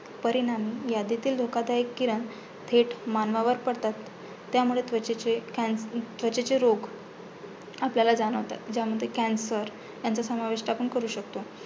परिणामी यादीतील धोकादायक किरण थेट मानवावर पडतात. त्यामुळे त्वचेचे कँण त्वचेचे रोग आपल्याला जाणवतात. ज्यामध्ये cancer ह्यांचा समाविष्ट आपण करू शकतो.